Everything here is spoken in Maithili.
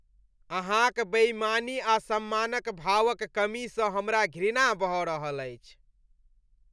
अहाँक बेईमानी आ सम्मान भाव क कमी सँ हमरा घृणा भऽ रहल अछि।